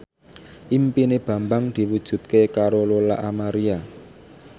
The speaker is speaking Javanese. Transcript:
impine Bambang diwujudke karo Lola Amaria